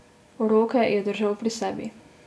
Roke je držal pri sebi.